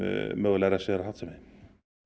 mögulega refsiverða háttsemi